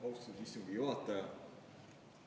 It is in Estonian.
Austatud istungi juhataja!